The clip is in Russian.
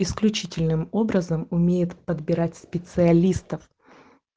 исключительным образом умеет подбирать специалистов